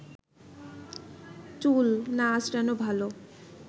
চুল না আঁচড়ানো ভালো